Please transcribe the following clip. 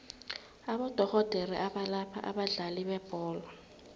abodorhodere abalapha abadlali bebholo